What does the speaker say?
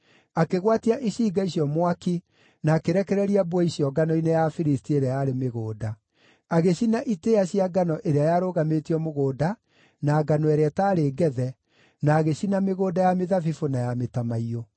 akĩgwatia icinga icio mwaki na akĩrekereria mbwe icio ngano-inĩ ya Afilisti ĩrĩa yarĩ mĩgũnda. Agĩcina itĩĩa cia ngano ĩrĩa yarũgamĩtio mũgũnda na ngano ĩrĩa ĩtaarĩ ngethe, na agĩcina mĩgũnda ya mĩthabibũ na ya mĩtamaiyũ.